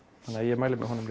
þannig að ég mæli með honum